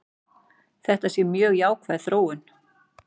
Þetta sé mjög jákvæð þróun.